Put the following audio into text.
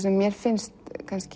sem mér finnst